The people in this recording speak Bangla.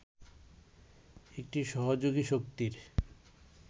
একটি সহযোগী শক্তির